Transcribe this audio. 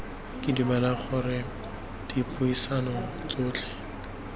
ke dumela gore dipuisano tsotlhe